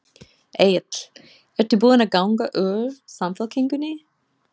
Egill: Ertu búin að ganga úr Samfylkingunni?